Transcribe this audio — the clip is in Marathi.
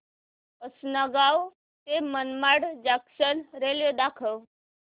आसंनगाव ते मनमाड जंक्शन रेल्वे दाखव